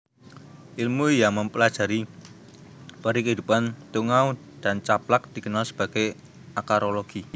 Ilmu yang mempelajari perikehidupan tungau dan caplak dikenal sebagai akarologi